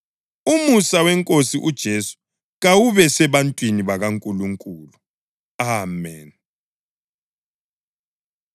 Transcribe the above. Umusa weNkosi uJesu kawube sebantwini bakaNkulunkulu. Ameni.